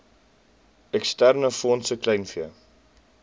eksterne fondse kleinvee